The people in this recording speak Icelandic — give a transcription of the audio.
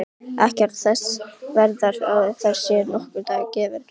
Ekki ertu þess verður að þér sé nokkur dagur gefinn.